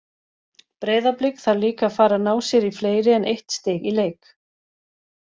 Breiðablik þarf líka að fara að ná sér í fleiri en eitt stig í leik.